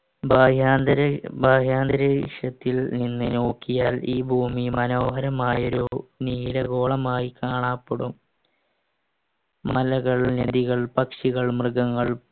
നിന്ന് നോക്കിയാൽ ഈ ഭൂമി മനോഹരമായ ഒരു നീലഗോളമായി കാണാപ്പെടും മലകൾ നദികൾ പക്ഷികൾ മൃഗങ്ങൾ